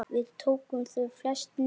Við tókum þau flest niðri.